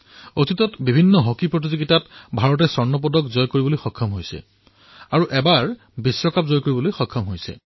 অতীতত ভাৰতে বিভিন্ন প্ৰতিযোগিতাত স্বৰ্ণ লাভ কৰিছে আৰু এবাৰ বিশ্বকাপো জয় কৰিছে